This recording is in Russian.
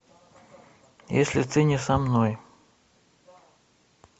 если ты не со мной